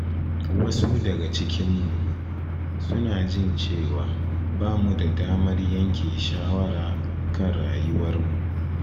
Wasu daga cikinmu suna jin cewa ba mu da damar yanke shawara kan rayuwarmu